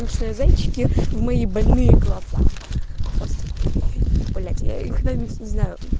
зайчики мои больные глаза блять я когда нибудь не знаю